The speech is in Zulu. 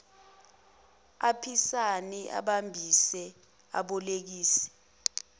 aphisane abambise abolekise